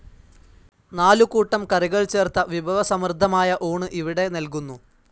നാലു കൂട്ടം കറികൾ ചേർത്ത വിഭവസമൃദ്ധമായ ഊണ് ഇവിടെ നൽകുന്നു.